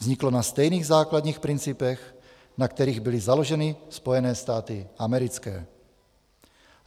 Vzniklo na stejných základních principech, na kterých byly založeny Spojené státy americké.